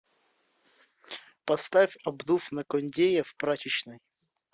поставь обдув на кондее в прачечной